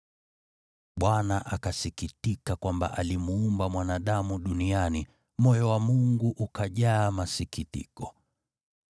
Bwana akasikitika kwamba alimuumba mwanadamu duniani, moyo wa Mungu ukajaa masikitiko.